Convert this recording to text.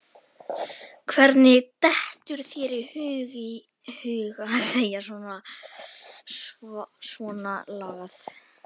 Hvernig dettur þér í hug að segja svonalagað!